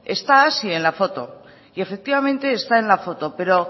está hazi en la foto y efectivamente está en la foto pero